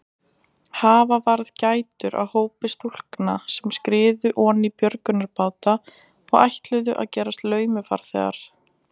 Hafa varð gætur á hópi stúlkna sem skriðu oní björgunarbáta og ætluðu að gerast laumufarþegar.